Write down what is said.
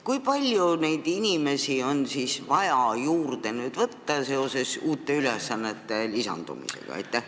Kui palju inimesi on siis vaja nüüd juurde võtta seoses ülesannete lisandumisega?